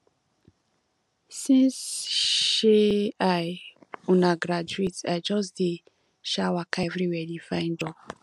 since um i um graduate i just dey um waka everywhere dey find job